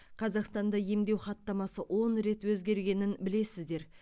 қазақстанда емдеу хаттамасы он рет өзгергенін білесіздер